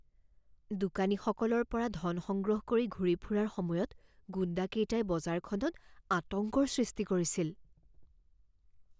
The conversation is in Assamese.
দোকানীসকলৰ পৰা ধন সংগ্ৰহ কৰি ঘূৰি ফুৰাৰ সময়ত গুণ্ডাকেইটাই বজাৰখনত আতংকৰ সৃষ্টি কৰিছিল।